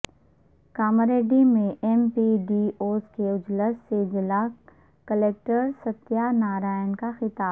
کاماریڈی میں M P D Os کے اجلاس سے ضلع کلکٹر ستیہ نارائنا کا خطاب